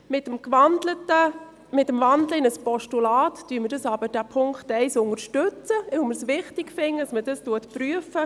Mit dem Wandeln in ein Postulat unterstützen wir den Punkt 1, weil uns wichtig ist, dass er geprüft wird.